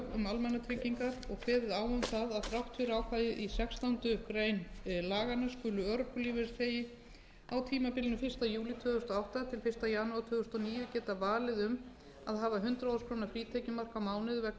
almannatryggingar og kveðið á um það að þrátt fyrir ákvæðið í sextándu grein laganna skuli örorkulífeyrisþegi á tímabilinu fyrsta júlí tvö þúsund og átta til fyrsta janúar tvö þúsund og níu geta valið um að hafa hundrað þúsund króna frítekjumark á mánuði vegna